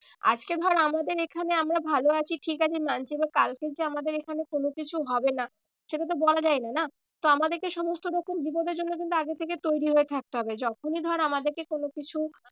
আজকে ধর আমাদের এখানে আমরা ভালো আছি ঠিক আছি মানছি এবার কালকে যে আমাদের এখানে কোনো কিছু হবে না সেটা তো বলা যায়না না। তো আমাদের সমস্ত রকম বিপদের জন্য কিন্তু আগে থেকে তৈরী হয়ে থাকতে হবে। যখনই ধর আমাদেরকে কোনো কিছু